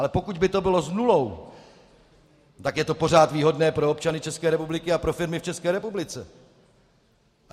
Ale pokud by to bylo s nulou, tak je to pořád výhodné pro občany České republiky a pro firmy v České republice.